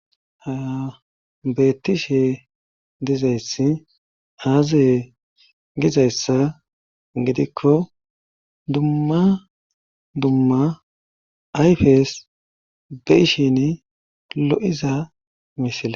ha beettishe dizayssi aazey gizayssa gidikko dumma dumma ayfes be ishin lo7iza misila